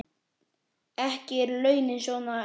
Ekki eru launin svo há.